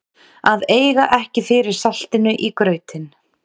Að eiga ekki fyrir saltinu í grautinn